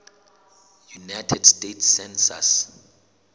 united states census